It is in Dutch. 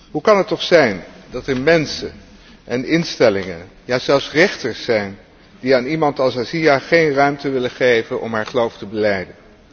Hoe kan het toch zijn dat er mensen en instellingen, ja zelfs rechters zijn die aan iemand aan Asia geen ruimte willen geven om haar geloof te belijden?